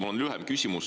Mul on lühem küsimus.